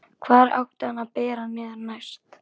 Hvar átti hann að bera niður næst?